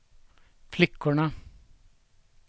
flickorna